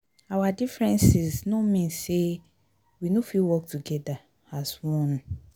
our differences no mean sey we no fit work togeda as one.